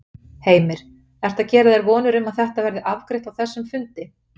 Heimir: Ertu að gera þér vonir um að þetta verði afgreitt á þessum fundi?